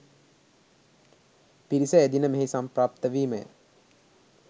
පිරිස එදින මෙහි සම්ප්‍රාප්ත වීම ය.